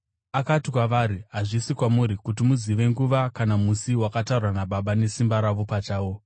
Akati kwavari, “Hazvisi kwamuri kuti muzive nguva kana musi wakatarwa naBaba nesimba ravo pachavo.